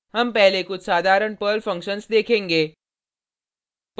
हम पहले कुछ साधारण पर्ल फंक्शन्स देखेंगे